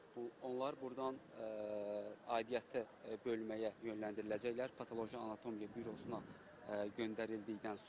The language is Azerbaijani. Onlar burdan aidiyyatı bölməyə yönləndiriləcəklər, patoloji anatomiya bürosuna göndərildikdən sonra.